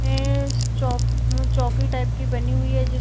चौकी टाइप की बनी हुई है जिस --